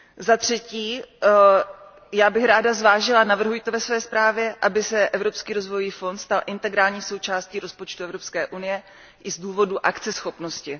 Za třetí, já bych ráda zvážila a navrhuji to ve své zprávě, aby se Evropský rozvojový fond stal integrální součástí rozpočtu Evropské unie, a to i z důvodu akceschopnosti.